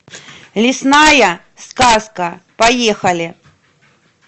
лесная сказка поехали